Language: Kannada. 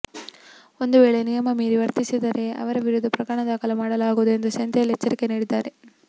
ಒಂದು ವೇಳೆ ನಿಯಮ ಮೀರಿ ವರ್ತಿಸಿದರೆ ಅವರ ವಿರುದ್ಧ ಪ್ರಕರಣ ದಾಖಲು ಮಾಡಲಾಗುವುದು ಎಂದು ಸೆಂಥಿಲ್ ಎಚ್ಚರಿಕೆ ನೀಡಿದ್ದಾರೆ